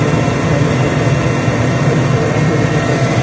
जो नो खातिर ओरी प्रोग्राम के देखे खातिर।